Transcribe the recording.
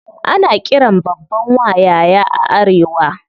Ana qiran babban wa "yaya" a arewa.